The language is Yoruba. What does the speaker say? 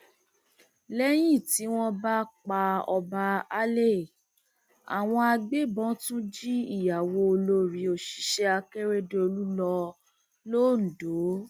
lẹyìn tí wọn pa ọba alay àwọn agbébọn tún jí ìyàwó olórí òṣìṣẹ akérèdọlù lọ lọńdọ